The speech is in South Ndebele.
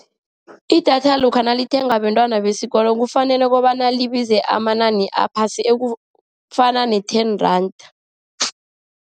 Idatha lokha nalithengwa bentwana besikolo, kufanele kobana libize amanani aphasi, ekufana ne-ten rand.